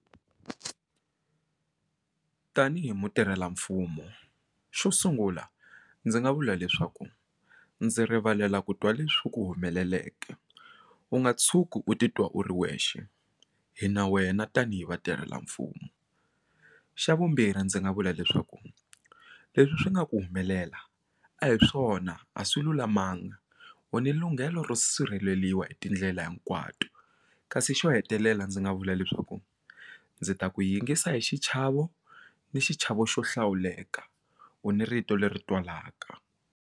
Tanihi mutirhelamfumo xo sungula ndzi nga vula leswaku ndzi rivalela ku twa leswi ku humeleleke u nga tshuki u titwa u ri wexe hi na wena tanihi vatirhela mfumo xa vumbirhi ndzi nga vula leswaku leswi swi nga ku humelela a hi swona a swi lulamanga u ni lunghelo ro sirheleliwa hi tindlela hinkwato kasi xo hetelela ndzi nga vula leswaku ndzi ta ku yingisa hi xichavo ni xichavo xo hlawuleka u ni rito leri twalaka.